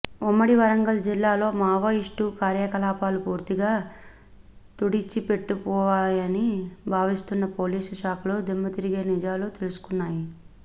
ఉమ్మడి వరంగల్ జిల్లాలో మావోయిస్టు కార్యకలాపాలు పూర్తిగా తుడిచిపెట్టుకపోయాయని భావిస్తున్న పోలీసు శాఖకు దిమ్మతిరిగే నిజాలు తెలుస్తున్నాయి